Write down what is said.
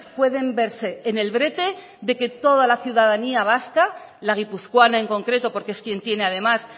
pueden verse en el brete de que toda las ciudadanía vasca la guipuzcoana en concreto porque es quien tiene además